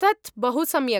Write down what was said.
तत् बहु सम्यक्।